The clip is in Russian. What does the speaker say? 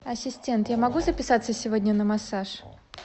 ассистент я могу записаться сегодня на массаж